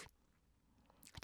DR2